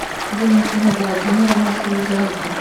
валентины владимировны шульженко